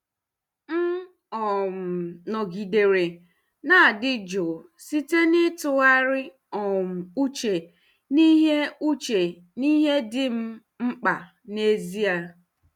M um nọgidere na-adị jụụ site n'ịtụgharị um uche n'ihe uche n'ihe dị m mkpa n'ezie.